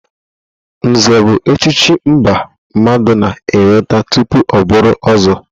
Nze bụ echichi mbụ mmadụ na-enweta tupu ọ bụrụ ọ̀zọ́.